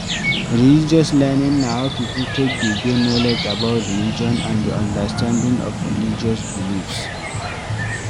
Religious learning na how pipo take dey get knowlege about religion and di understanding of religious beliefs